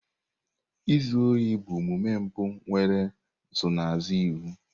Izu ohi bụ omume mpụ nwere nsonaazụ iwu.